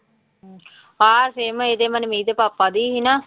ਆਹ ਸਿਮ ਇਹਦੇ ਮਨਮੀਤ ਦੇ ਪਾਪਾ ਦੀ ਸੀ ਨਾ।